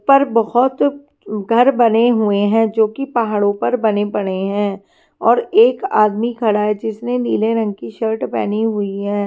पर बहुत घर बने हुए हैं जो कि पहाड़ों पर बने पड़े हैं और एक आदमी खड़ा है जिसने नीले रंग की शर्ट पहनी हुई हैं।